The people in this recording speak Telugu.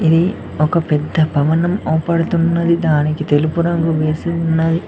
ఇది ఒక పెద్ద భవనం ఆపడుతున్నది దానికి తెలుపు రంగు వేసి ఉన్నది.